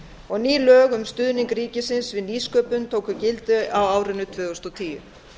og ný lög um stuðning ríkisins við nýsköpun tóku gildi á árinu tvö þúsund og tíu